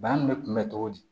Bana nin be kunbɛn cogo di